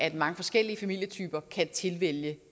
at mange forskellige familietyper kan tilvælge